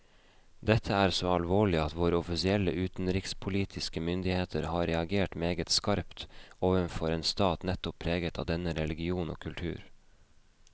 Dette er så alvorlig at våre offisielle utenrikspolitiske myndigheter har reagert meget skarpt overfor en stat nettopp preget av denne religion og kultur.